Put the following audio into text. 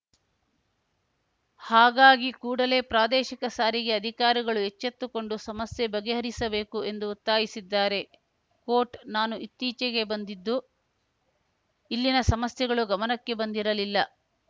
ಹಾಗಾಗಿ ಕೂಡಲೇ ಪ್ರಾದೇಶಿಕ ಸಾರಿಗೆ ಅಧಿಕಾರಿಗಳು ಎಚ್ಚೆತ್ತುಕೊಂಡು ಸಮಸ್ಯೆ ಬಗೆಹರಿಸಬೇಕು ಎಂದು ಒತ್ತಾಯಿಸಿದ್ದಾರೆ ಕೋಟ್‌ ನಾನು ಇತ್ತೀಚೆಗೆ ಬಂದಿದ್ದು ಇಲ್ಲಿನ ಸಮಸ್ಯೆಗಳು ಗಮನಕ್ಕೆ ಬಂದಿರಲಿಲ್ಲ